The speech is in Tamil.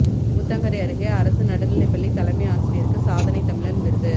ஊத்தங்கரை அருகே அரசு நடுநிலைப்பள்ளி தலைமை ஆசிரியருக்கு சாதனைத் தமிழன் விருது